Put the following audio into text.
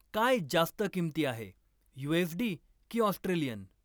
काय जास्त किंमती आहे, यु.एस.डी. की ऑस्ट्रेलियन?